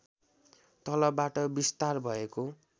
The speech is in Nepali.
तलबाट विस्तार भएको